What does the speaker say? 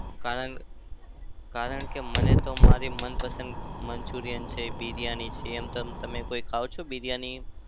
કારણ કારણ કે મને તો મારી મનપસંદ મંચુરિયન છે. બિરિયાની છે. એમ તમ તમે કોઈ ખાવ છો બિરિયાની?